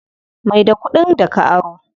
Mai da kuɗin da ka aro.